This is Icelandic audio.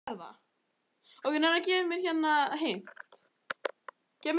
Gekk yfir á rauðu ljósi